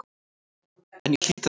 En ég hlýt að gera það.